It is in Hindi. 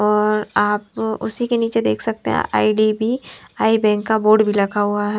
और आप उसी के नीचे देख सकते हैं आईडीबी आई बैंक का बोर्ड भी लिखा हुआ है।